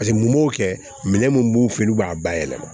Paseke mun b'o kɛ minɛn mun b'u fɛ yen n'u b'a bayɛlɛma